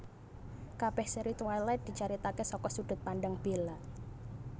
Kabèh sèri Twilight dicaritaké saka sudut pandang Bella